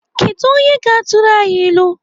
Kedụ onye ga-atụrụ anyị ilu?